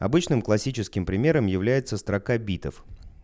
обычным классическим примером является строка битов